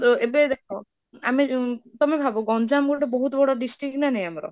ତ ଏବେ ଦେଖ ଆମେ ତମେ ଭାବ, ଗଞ୍ଜାମ ଗୋଟେ ବଡ district ନା ନାହିଁ ଆମର ?